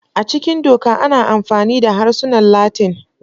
A cikin Doka, ana amfani da harsunan Latin.